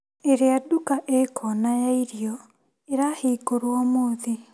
ĩrĩa nduka ĩ kona ya irio ĩrahingũrwo ũmũthĩ .